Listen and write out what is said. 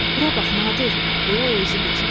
Bura bax Nadir, deyə o izi göstərdi.